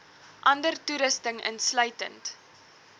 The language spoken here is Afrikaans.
ander toerusting insluitend